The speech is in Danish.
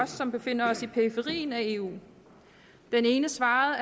som befinder os i periferien af eu den ene svarede